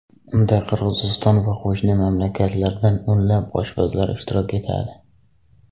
Unda Qirg‘iziston va qo‘shni mamlakatlardan o‘nlab oshpazlar ishtirok etadi.